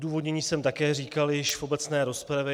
Odůvodnění jsem také říkal již v obecné rozpravě.